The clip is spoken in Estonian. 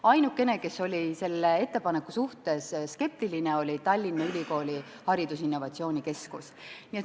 Ainukene, kes oli selle ettepaneku suhtes skeptiline, oli Tallinna Ülikooli haridusinnovatsioonikeskus.